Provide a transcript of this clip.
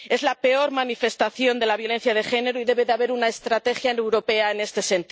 Es la peor manifestación de la violencia de género y debe haber una estrategia europea en la materia.